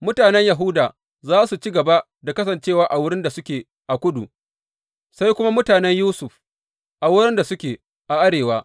Mutanen Yahuda za su ci gaba da kasancewa a wurin da suke a kudu, sai kuma mutanen Yusuf a wurin da suke a arewa.